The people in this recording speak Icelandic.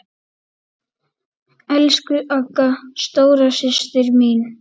Elsku Agga, stóra systir mín.